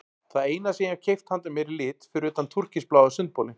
Það eina sem ég hef keypt handa mér í lit fyrir utan túrkisbláa sundbolinn.